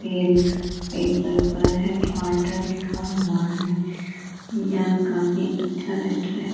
headquarter लिखा हुआ है | यह काफी अच्छा रेस्टुरेंट --